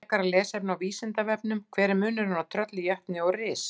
Frekara lesefni á Vísindavefnum: Hver er munurinn á trölli, jötni og risa?